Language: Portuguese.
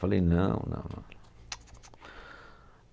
Falei, não, não não.